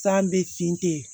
San bɛ finte